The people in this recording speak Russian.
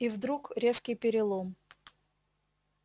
и вдруг резкий перелом